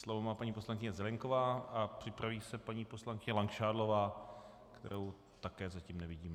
Slovo má paní poslankyně Zelienková a připraví se paní poslankyně Langšádlová, kterou také zatím nevidím.